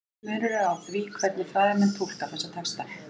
Mikill munur er á því hvernig fræðimenn túlka þessa texta.